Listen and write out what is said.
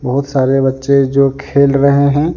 बहुत सारे बच्चे जो खेल रहे हैं।